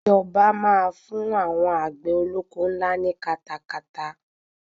Ìjọba máa fún àwọn àgbè olóko ńlá ní katakata.